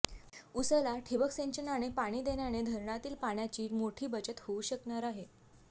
उसाला ठिबक सिंचनाने पाणी देण्याने धरणातील पाण्याची मोठी बचत होऊ शकणार आहे